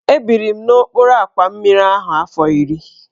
Ebiri m n'okpuru àkwà mmiri ahụ afọ iri.